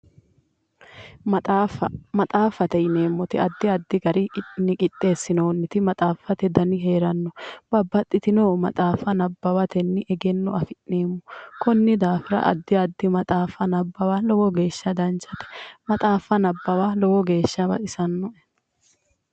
Maxaaffa maxaaffate yineemmori addi addi garinni qixeessinoonniti maxaaffate Dani heeranno babbaxitinno maxaaffa nabbawatenni egenno afi'neemmo konnira dafira addi addi maxaaffa nabbawa lowo geeshsha danchate maxaaffa nabbawa lowo geeshsha baxisannoe